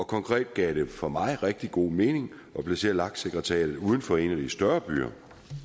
konkret gav det for mig rigtig god mening at placere lak sekretariatet uden for en af de større byer